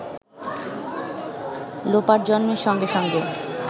লোপার জন্মের সঙ্গে সঙ্গে